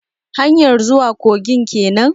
Hanyar zuwa kogin kenan?